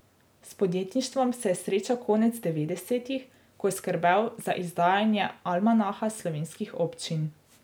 S podjetništvom se je srečal konec devetdesetih, ko je skrbel za izdajanje Almanaha slovenskih občin.